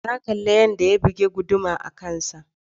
Na kalli yadda ya bugi guduma a kansa.